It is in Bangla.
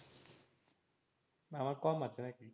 আমার কম আছে নাকি?